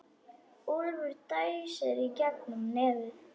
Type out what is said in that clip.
Úlfur dæsir í gegnum nefið.